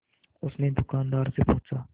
उसने दुकानदार से पूछा